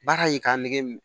Baara ye k'a nɛgɛ mun